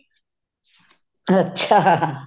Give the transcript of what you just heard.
ਅੱਛਾ